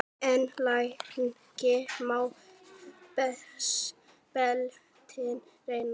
En lengi má beltin reyna.